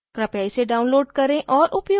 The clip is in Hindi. कृपया इसे download करें और उपयोग करें